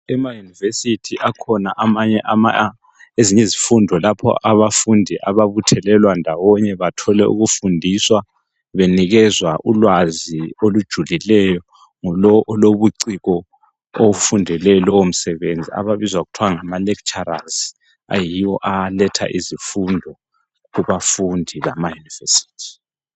Ema yunivesithi kukhona ezinye izifundo lapho abafundi ababuthelelwa ndawonye bathole ukufundiswa benikezwa ulwazi olujulileyo ngulowo olobuciko ofundele lowo msebenzi ababizwa kuthiwa ngama lecturers, ayiwo aletha izifundo kubafundi bama yunivesithi.